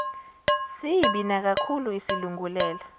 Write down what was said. sibi nakakhulu isilungulela